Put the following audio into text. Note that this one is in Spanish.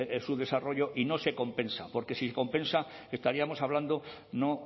su desarrollo y no se compensa porque si compensa estaríamos hablando no